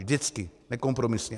Vždycky, nekompromisně.